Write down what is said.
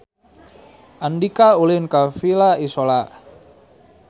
Andika ulin ka Villa Isola